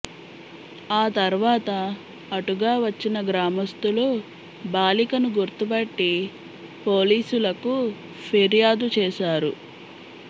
ఆ తర్వాత అటుగా వచ్చిన గ్రామస్థులు బాలికను గుర్తుపట్టి పోలీసులకు ఫిర్యాదు చేశారు